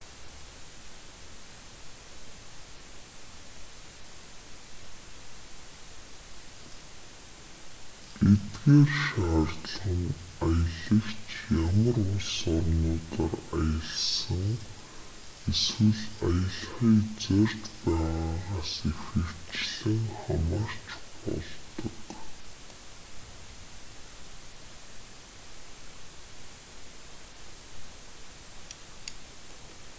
эдгээр шаардлага нь аялагч ямар улс орнуудаар аялсан эсвэл аялахыг зорьж байгаагаас ихэвчлэн хамаарч болдог